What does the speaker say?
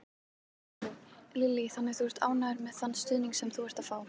Lillý: Þannig að þú ert líka ánægður með þann stuðning sem þú ert að fá?